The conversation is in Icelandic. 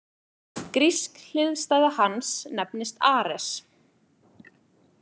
Grísk hliðstæða hans nefnist Ares.